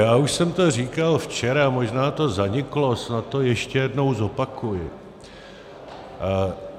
Já už jsem to říkal včera, možná to zaniklo, snad to ještě jednou zopakuji.